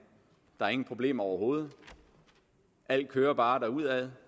der er ingen problemer overhovedet alt kører bare derudad